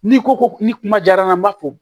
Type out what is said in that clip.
N'i ko ko ni kuma jara n ye n b'a fɔ